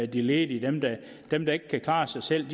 de ledige dem der ikke kan klare sig selv